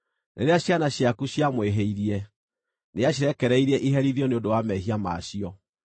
Rĩrĩa ciana ciaku ciamwĩhĩirie-rĩ, nĩacirekereirie iherithio nĩ ũndũ wa mehia ma cio.